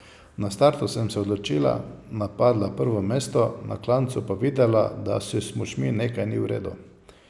Na startu sem se odločila, napadla prvo mesto, na klancu pa videla, da s smučmi nekaj ni v redu.